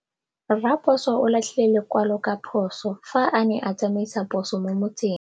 Raposo o latlhie lekwalô ka phosô fa a ne a tsamaisa poso mo motseng.